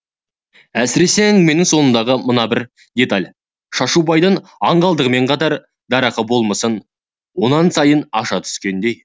әсіресе әңгіменің соңындағы мына бір деталь шашубайдың аңғалдығымен қатар дарақы болмысын онан сайын аша түскендей